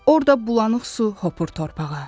Orda bulanıq su hopur torpağa.